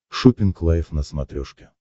шоппинг лайв на смотрешке